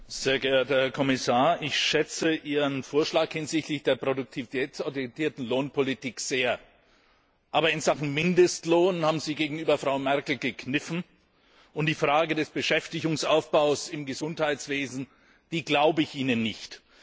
Herr Präsident! sehr geehrter Herr Kommissar, ich schätze Ihren Vorschlag hinsichtlich der produktivitätsorientierten Lohnpolitik sehr. Aber in Sachen Mindestlohn haben Sie gegenüber Frau Merkel gekniffen, und die Frage des Beschäftigungsaufbaus im Gesundheitswesen glaube ich Ihnen nicht.